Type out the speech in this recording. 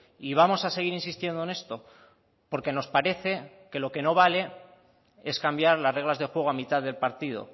y vamos a seguir insistiendo en esto porque nos parece que lo que no vale es cambiar las reglas de juego a mitad del partido